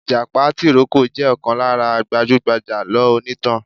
ìjàpá tìrókò jẹ̀ ọ̀kan lára gbajúgbajà alọ onítàn.